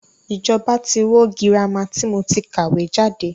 Ìjọba tí wó girama tí mo ti kàwé jáde.